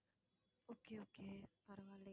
okay okay பரவாயில்லை